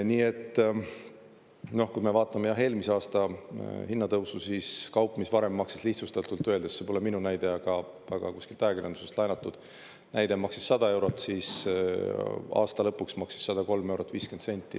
Nii et kui me vaatame eelmise aasta hinnatõusu, siis kaup, mis varem maksis lihtsustatult öeldes – see pole minu näide, aga kuskilt ajakirjandusest laenatud näide – maksis 100 eurot, siis aasta lõpuks maksis 103 eurot 50 senti.